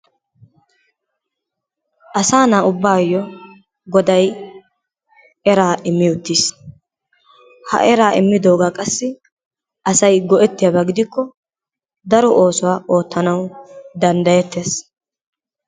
Asaa na'a ubbayo Goday eraa immi uttiis, ha eraa ommiddoogaa qassi asay go'ettiyoba gidikko daro oosuwa oottanawu danddayettees.